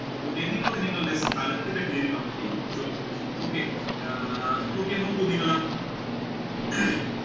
okay നിങ്ങൾ ഒന്ന് നിങ്ങളുടെ സ്ഥലത്തിന്റെ പേര് ഒന്ന് comment ചെയ്യാൻ പറ്റോ okay അഹ് okay നോക്കൂ നിങ്ങൾ